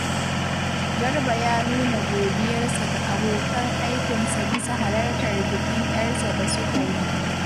Garba ya nuna godiyarsa ga abokan aikinsa bisa halartar bikin ‘yarsa da suka yi